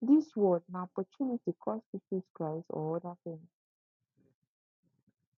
dis world na opportunity cost you choose christ or oda tin